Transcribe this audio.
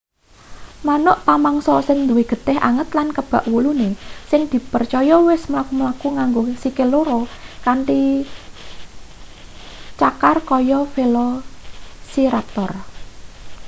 manuk pamangsa sing duwe getih anget lan kebak wulune sing dipercaya wis mlaku-mlaku nganggo sikil loro kanthi cakar kaya velociraptor